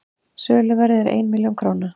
söluverðið er einn milljón króna